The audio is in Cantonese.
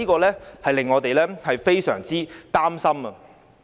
這令我們非常擔心。